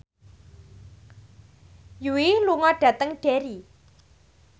Yui lunga dhateng Derry